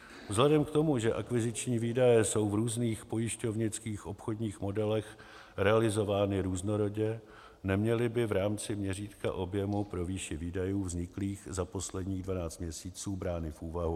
Vzhledem k tomu, že akviziční výdaje jsou v různých pojišťovnických obchodních modelech realizovány různorodě, neměly by v rámci měřítka objemu pro výši výdajů vzniklých za posledních 12 měsíců brány v úvahu.